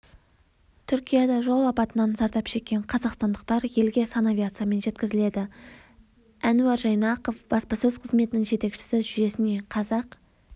түркияда жол апатынан зардап шеккен қазақстандықтар елге санавиациямен жеткізіледі әнуар жайнақов баспасөз қызметінің жетекшісі жүйесіне қазақ